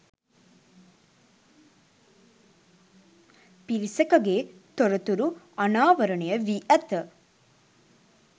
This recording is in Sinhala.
පිරිසකගේ තොරතුරු අණාවරණය වී ඇත